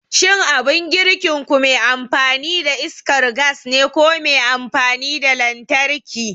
Shin abin girkinku me amfani da iskar gas ne ko me amfani da lantarki?